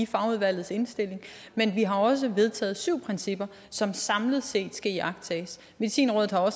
fagudvalgets indstilling men vi har også vedtaget syv principper som samlet set skal iagttages medicinrådet har